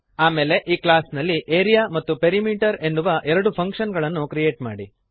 ಆಮೇಲೆ ಈ ಕ್ಲಾಸ್ ನಲ್ಲಿ ಆರಿಯಾ ಮತ್ತು ಪೆರಿಮೀಟರ್ ಎನ್ನುವ ಎರಡು ಫಂಕ್ಶನ್ ಗಳನ್ನು ಕ್ರಿಯೇಟ್ ಮಾಡಿರಿ